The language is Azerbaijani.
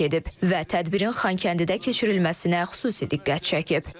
Və tədbirin Xankəndidə keçirilməsinə xüsusi diqqət çəkib.